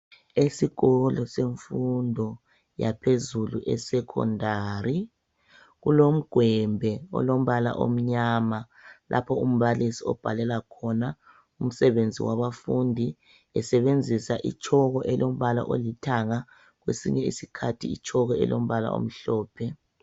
Esikolo semfundo yaphezulu esecondary kulomgwembe olombala omnyama lapho umbalisi obhalela khona umsebenzi wabafundi besebenzisa itshoko elombala olithanga kwesinye isikhathi itshoko elombala omhlophe.